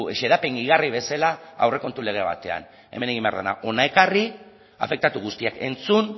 xedapen gehigarri bezala aurrekontu lege batean hemen egin behar dena hona ekarri afektatu guztiak entzun